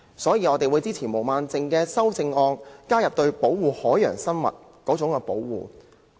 因此，我們會支持毛孟靜議員的修正案，加入對保護海洋生物的保護。